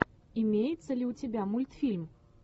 имеется ли у тебя мультфильм